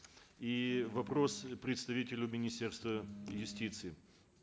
и вопрос представителю министерства юстиции